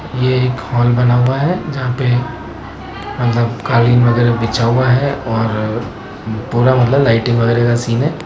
यह एक हॉल बना हुआ है जहां पे मतलब कालीन वगैरह बिछा हुआ है और पूरा मतलब लाइटिंग वगैरह का सीन है।